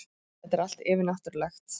Þetta er allt yfirnáttúrulegt.